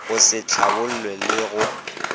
go se hlabollwe le go